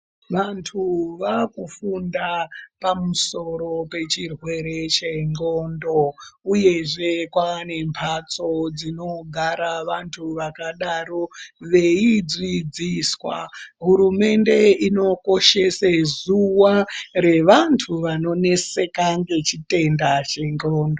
Vantu vakufunda pamusoro pechirwere chenxondo uye zvee kune mbatso dzinogara vantu vakadaro veyidzidziswa hurumende inokoshese zuva revantu vanonetseka nechitenda chendxondo.